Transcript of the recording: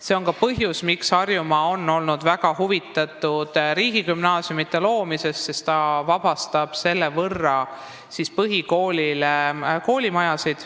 See on ka põhjus, miks Harjumaa on olnud väga huvitatud riigigümnaasiumide loomisest, sest see vabastab koolimaju põhikoolile.